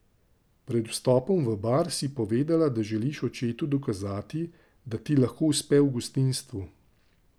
Pred vstopom v Bar si povedala, da želiš očetu dokazati, da ti lahko uspe v gostinstvu.